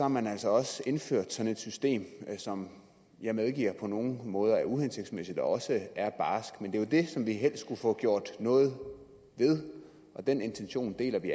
man altså også indført sådan et system som jeg medgiver på nogle måder er uhensigtsmæssigt og også er barskt men det er jo det som vi helst skulle få gjort noget ved og den intention deler vi